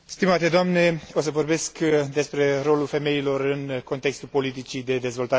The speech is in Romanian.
O să vorbesc despre rolul femeilor în contextul politicii de dezvoltare regională.